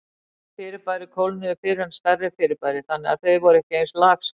Minni fyrirbæri kólnuðu fyrr en stærri fyrirbæri, þannig að þau voru ekki eins lagskipt.